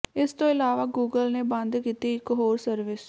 ਇਸ ਤੋਂ ਇਲਾਵਾ ਗੂਗਲ ਨੇ ਬੰਦ ਕੀਤੀ ਇਕ ਹੋਰ ਸਰਵਿਸ